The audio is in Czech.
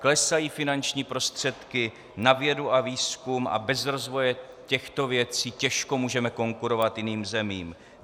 Klesají finanční prostředky na vědu a výzkum a bez rozvoje těchto věcí těžko můžeme konkurovat jiným zemím.